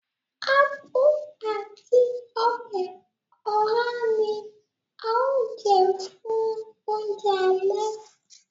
Ápú àti ọbẹ̀ oha ní a o jẹ fún oúnjẹ alẹ́